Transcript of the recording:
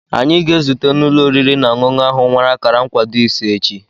Anyị ga-ezute na ụlọ oriri na ọṅụṅụ ahụ nwere akara nkwado ise echi.